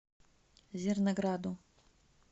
зернограду